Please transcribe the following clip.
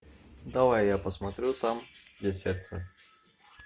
давай я посмотрю там где сердце